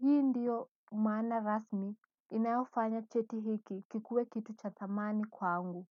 hii ndiyo maana rasmi inayofanya cheti hiki kikuwe kitu cha thamani kwangu.